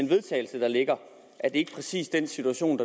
vedtagelse der ligger er præcis den situation